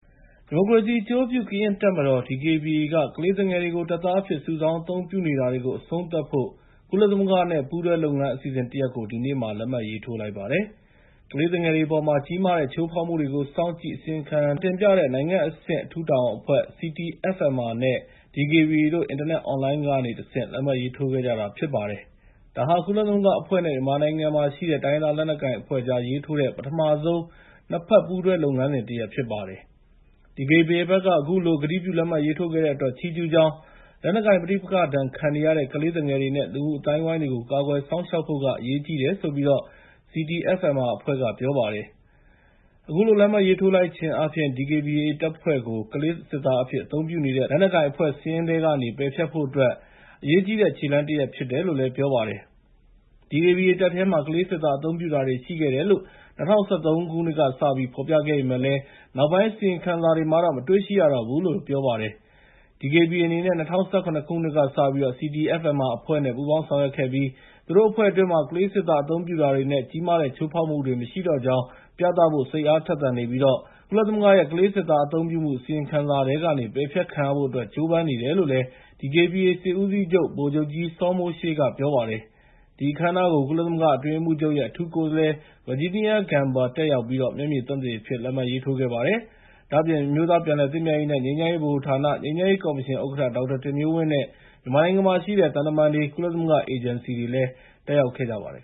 ဒီမိုကရေစီအကျိုးပြုကရင်တပ်မတော် (DKBA) က ကလေးသူငယ်တွေကို တပ်သားအဖြစ် စုဆောင်းအသုံးပြုနေတာတွေကို အဆုံးသတ်ဖို့ ကုလသမဂ္ဂနဲ့ ပူးတွဲလုပ်ငန်းအစီအစဉ်တရပ်ကို ဒီကနေ့မှာ လက်မှတ်ရေးထိုးလိုက်ပါတယ်။ ကလေးသူငယ်တွေအပေါ်မှာ ကြီးမားတဲ့ ချိုးဖောက်မှုတွေကို စောင့်ကြည့် အစီရင်ခံတင်ပြတဲ့နိုင်ငံအဆင့် အထူးတာဝန်အဖွဲ့ (CTFMR) နဲ့ DKBA တို့ အင်တာနက်အွန်လိုင်းကနေ တဆင့် လက်မှတ်ရေးထိုးခဲ့ကြတာဖြစ်ပါတယ်။ ဒါဟာ ကုလသမဂ္ဂအဖွဲ့နဲ့ မြန်မာနိုင်ငံမှာရှိတဲ့ တိုင်းရင်းသားလက်နက်ကိုင်အဖွဲ့ကြား ရေးထိုးတဲ့ ပထမဆုံး ၂ ဘက်ပူးတွဲလုပ်ငန်းစဉ်တရပ်ဖြစ်ပါတယ်။ DKBA ဘက်က အခုလို ကတိပြုလက်မှတ်ရေးထိုးခဲ့တဲ့အတွက် ချီးကျူးကြောင်း၊ လက်နက်ကိုင် ပဋိပက္ခဒဏ်ခံနေရတဲ့ ကလေးသူငယ်တွေနဲ့ လူမှုအသိုင်းအဝိုင်းတွေကို ကာကွယ်စောင့်ရှောက်ဖို့က အရေးကြီးတယ်လို့ CTFMR အဖွဲ့က ပြောပါတယ်။ အခုလို လက်မှတ်ရေးထိုးလိုက်ခြင်းအားဖြင့် ကလေးစစ်သားအဖြစ် အသုံးပြုနေတဲ့ လက်နက်ကိုင်အဖွဲ့စာရင်းထဲကနေ DKBA တပ်ဖွဲ့ကို ပယ်ဖျက်ဖို့အတွက် အရေးကြီးတဲ့ခြေလှမ်းဖြစ်တယ်လို့လည်း ပြောပါတယ်။ DKBA တပ်ထဲမှာ ကလေးစစ်သားအသုံးပြုတာတွေရှိခဲ့တယ်လို့ ၂၀၁၃ ကစပြီးဖော်ပြခဲ့ပေမယ့်လည်း နောက်ပိုင်းအစီရင်ခံစာတွေမှာတော့ မတွေ့ရှိရတော့ဘူးလို့လည်း ပြောပါတယ်။ DKBA အနေနဲ့ ၂၀၁၇ ကစပြီး CTFMR အဖွဲ့နဲ့ ပူးပေါင်းဆောင်ရွက်ခဲ့ပြီး သူတို့အဖွဲ့အတွင်းမှာ ကလေးစစ်သားအသုံးပြုတာတွေနဲ့ ကြီးမားတဲ့ ချိုးဖောက်မှုတွေမရှိတော့ကြောင်း ပြသဖို့ စိတ်အားထက်သန်နေပြီးတော့ ကုလသမဂ္ဂရဲ့ ကလေးစစ်သားအသုံးပြုမှု အစီရင်ခံစာထဲကနေ ပယ်ဖျက်ခံရဖို့အတွက် ကြိုးပမ်းနေတယ်လို့ DKBA စစ်ဦးစီးချုပ် ဗိုလ်ချုပ်ကြီး စောမိုးရှေးကလည်း ပြောပါတယ်။ ဒီအခမ်းအနားကို ကုလသမဂ္ဂအတွင်းရေးမှူးချုပ်ရဲ့ အထူးကိုယ်စားလှယ် Virginia Gamba လည်းတက်ရောက်ပြီး မျက်မြင်သက်သေအဖြစ် လက်မှတ်ရေးထိုးခဲ့ပါတယ်။ ဒါ့အပြင် အမျိုးသားပြန်လည်သင့်မြတ်ရေးနဲ့ ငြိမ်းချမ်းရေးဗဟိုဌာန၊ ငြိမ်းချမ်းရေးကော်မရှင်ဥက္ကဋ္ဌ ဒေါက်တာတင်မျိုးဝင်းနဲ့ မြန်မာနိုင်ငံမှာရှိတဲ့ သံတမန်တွေ၊ ကုလသမဂ္ဂအေဂျင်စီတွေလည်း တက်ရောက်ခဲ့ကြပါတယ်